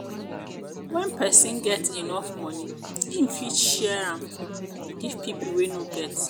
when persin get when persin get enough money im fit share am give pipo wey no get